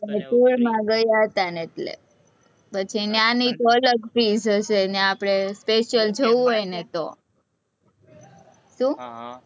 tour માં ગયા હતા ને એટલે, પછી ન્યાની અલગ fees હશે, ત્યાં આપણે special જવું હોય ને તો. શું?